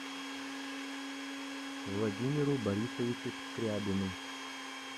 владимиру борисовичу скрябину